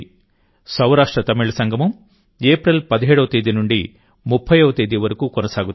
సౌరాష్ట్రతమిళ సంగమం ఏప్రిల్ 17వ తేదీ నుండి30వ తేదీ వరకు కొనసాగుతుంది